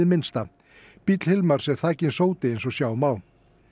minnsta bíll Hilmars er þakinn sóti eins og sjá má